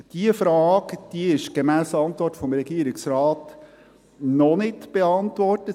Diese Frage ist gemäss der Antwort des Regierungsrates noch nicht beantwortet.